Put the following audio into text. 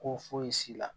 Ko fosi la